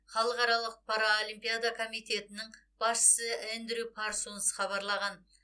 халықаралық паралимпиада комитетінің басшысы эндрю парсонс хабарлаған